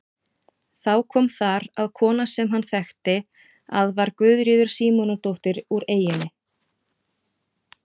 Þá kom þar að kona sem hann þekkti að var Guðríður Símonardóttir úr eyjunni.